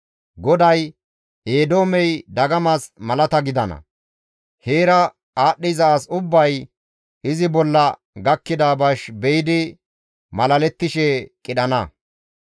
GODAY, «Eedoomey dagamas malata gidana; heera aadhdhiza as ubbay izi bolla gakkida bash be7idi malalettishe qidhana.